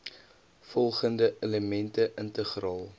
volgende elemente integraal